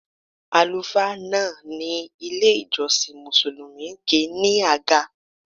Àlùfáà náà ní ilé-ìjọsìn Mùsùlùmí kì í ní àga.